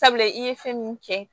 Sabula i ye fɛn mun kɛ